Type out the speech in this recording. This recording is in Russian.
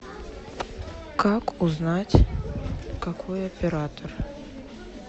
как узнать какой оператор